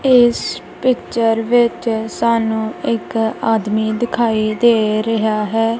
ਇਸ ਪਿਚਰ ਵਿੱਚ ਸਾਨੂੰ ਇੱਕ ਆਦਮੀ ਦਿਖਾਈ ਦੇ ਰਿਹਾ ਹੈ।